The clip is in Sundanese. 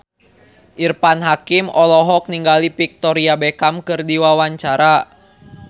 Irfan Hakim olohok ningali Victoria Beckham keur diwawancara